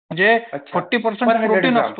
जे forty percent